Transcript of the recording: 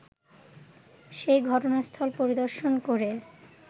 সেই ঘটনাস্থল পরিদর্শন করে